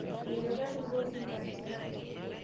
Menyor netaruori nkarinaai